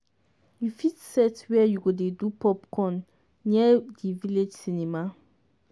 you fit set where u go dey do popcorn near di village cinema.